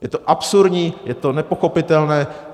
Je to absurdní, je to nepochopitelné.